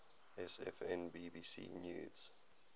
sfn bbc news